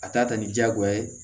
A t'a ta ni diyagoya ye